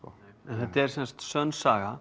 þetta er semsagt sönn saga